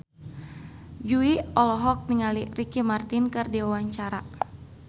Jui olohok ningali Ricky Martin keur diwawancara